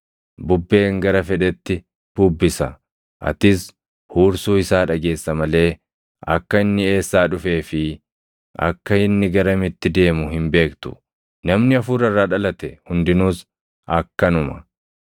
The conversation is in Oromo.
Bubbeen gara fedhetti bubbisa. Atis huursuu isaa dhageessa malee akka inni eessaa dhufee fi akka inni garamitti deemu hin beektu; namni Hafuura irraa dhalate hundinuus akkanuma.”